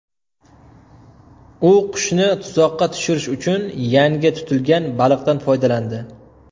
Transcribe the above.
U qushni tuzoqqa tushirish uchun yangi tutilgan baliqdan foydalandi.